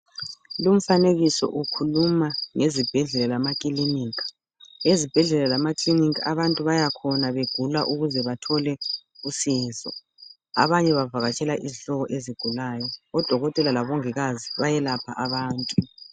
Umfanekiso ukhuluma ngezibhedlela lamakilinika, abantu bayakhona nxa begula ukuze bathole usizo abanye bavakatshela izihlobo ezigulayo, odokotela labomongikazi bayelapha abantu.